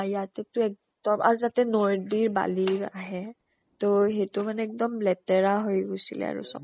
ইয়াতে টো এক্দম আৰু তাতে নদীৰ বালি আহে, ত সিটো মানে এক্দম লেতেৰা হৈ গৈছিলে আৰু চব